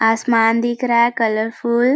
आसमान दिख रहा है कलरफ़ूल --